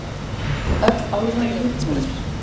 Öll álfan í uppnámi.